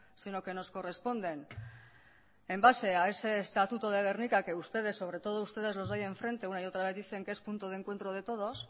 sino que nos corresponden en base a ese estatuto de gernika que ustedes sobre todo ustedes los de ahí enfrente una y otra vez dicen que es punto de encuentro de todos